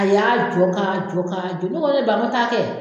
A y'a jɔ ka jɔ ka jɔ ne kɔ ne ba ta kɛ